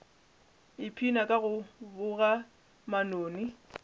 ipshina ka go boga manoni